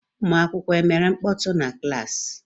ụmụakwụkwọ emere mkpọtụ na klassi?